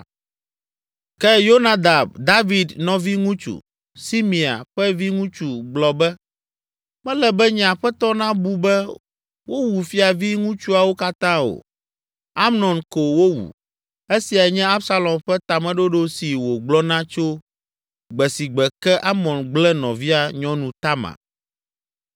Ke Yonadab, David nɔviŋutsu, Simea ƒe viŋutsu gblɔ be, “Mele be nye aƒetɔ nabu be wowu fiaviŋutsuawo katã o. Amnon ko wowu! Esiae nye Absalom ƒe tameɖoɖo si wògblɔna tso gbe si gbe ke Amnon gblẽ nɔvia nyɔnu Tamar.